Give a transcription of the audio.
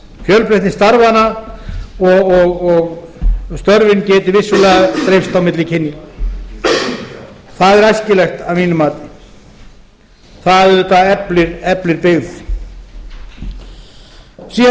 fjölbreytni starfanna og störfin geti vissulega breyst á milli kynja það er æskilegt að mínu mati það auðvitað eflir byggð síðan